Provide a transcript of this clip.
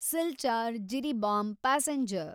Silchar Jiribam passenger